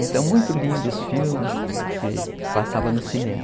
Então, muito lindo os filmes que passavam no cinema.